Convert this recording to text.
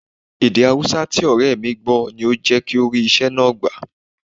Èdè Haúsá tí ọ̀rẹ́ mi gbọ́ ni ó jẹ́ kí ó rí iṣẹ́ náà gbà